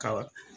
Ka